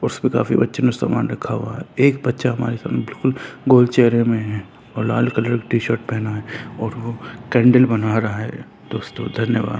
उस पे काफी बच्चो ने सामान रखा हुआ है एक बच्चा हमारा समक्ष में गोल चेहरे में है और लाल कलर की टी-शर्ट पहना है और वो कैंडल बना रहा है। दोस्तों धन्यवाद।